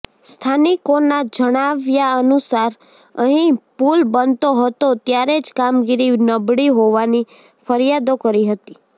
સ્થાનિકોના જણાવ્યાનુસાર અહીં પુલ બનતો હતો ત્યારે જ કામગીરી નબળી હોવાની ફરિયાદો કરી હતી